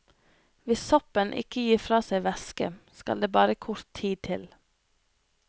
Hvis soppen ikke gir fra seg væske, skal det bare kort tid til.